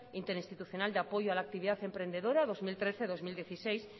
interrinstitucional de apoyo a la actividad emprendedora dos mil trece dos mil dieciséis